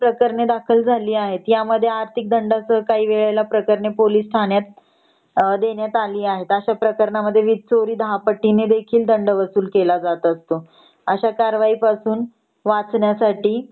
प्रकरण दाखल झाली आहेत यामध्ये आर्थिक दंडासह काही वेळेला प्रकरण पोलिस ठाण्यात देण्यात आली आहेत अश्या प्रकरणामध्ये वीज चोरी 10 पटीने देखील दंड वसूल केला जात असतो अश्या कारवाई पासून वाचण्यासाठी